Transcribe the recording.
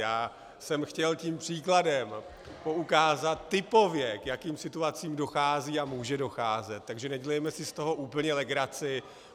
Já jsem chtěl tím příkladem poukázat typově, k jakým situacím dochází a může docházet, takže nedělejme si z toho úplně legraci.